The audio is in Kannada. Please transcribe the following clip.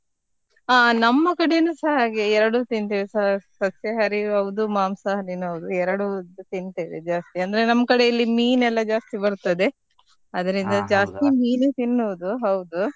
ಹಾ ನಮ್ಮ ಕಡೆನುಸಾ ಹಾಗೆ ಎರಡು ತಿಂತೇವೆ ಸ~ ಸಸ್ಯಾಹಾರಿನೂ ಹೌದು ಮಾಂಸಾಹಾರಿನೂ ಹೌದು, ಎರಡು ತಿಂತೇವೆ ಜಾಸ್ತಿ ಅಂದ್ರೆ ನಮ್ ಕಡೆ ಇಲ್ಲಿ ಮೀನ್ ಎಲ್ಲ ಜಾಸ್ತಿ ಬರ್ತ್ತದೆ, ಅದ್ರಿಂದ ಜಾಸ್ತಿ ಮೀನು ತಿನ್ನೋದು ಹೌದು.